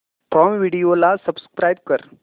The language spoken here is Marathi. प्राईम व्हिडिओ ला सबस्क्राईब कर